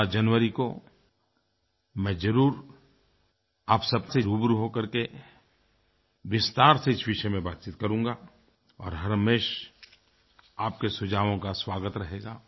16 जनवरी को मैं ज़रूर आप सबसे रूबरू हो करके विस्तार से इस विषय में बातचीत करूंगा और हमेशा आपके सुझावों का स्वागत रहेगा